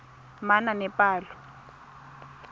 manaanepalo